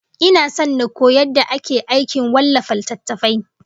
Ina son in koyi yadda ake aikin wallafa littattafai